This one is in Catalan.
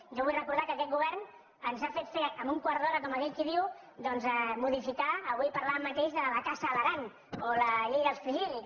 jo vull recordar que aquest govern ens ha fet fer en un quart d’hora com aquell qui diu doncs modificar avui en parlàvem la caça a l’aran o la llei dels fringíl·lids